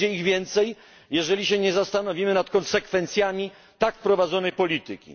Będzie ich więcej, jeżeli nie zastanowimy się nad konsekwencjami tak prowadzonej polityki.